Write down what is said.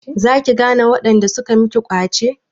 Za ki gane waɗanda suka miki ƙwace?